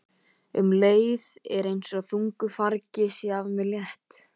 Um leið er einsog þungu fargi sé af mér létt.